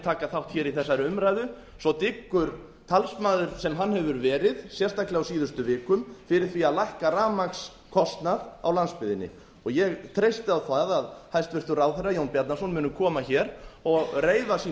taka þátt í þessari umræðu svo tryggur talsmaður sem hann hefur verið sérstaklega á síðustu vikum fyrir því að lækka rafmagnskostnað á landsbyggðinni ég treysti á það að hæstvirtur ráðherra muni koma hér og reiða sín